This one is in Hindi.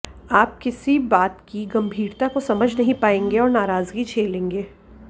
आप किसी बात की गंभीरता को समझ नहीं पाएंगे और नाराजगी झेलेंगे